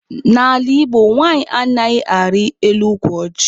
N'ala Igbo, nwanyị anaghị arị elu ukwu ọjị.